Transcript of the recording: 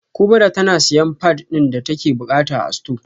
kubra tana siyan pad din da take bukata a store